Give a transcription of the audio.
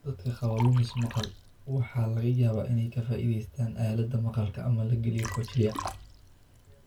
Dadka qaba lumis maqal waxaa laga yaabaa inay ka faa'iidaystaan ​​aalada aalada maqalka ama la geliyo cochlear.